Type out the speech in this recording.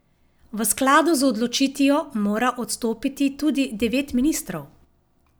V skladu z odločitvijo mora odstopiti tudi devet ministrov.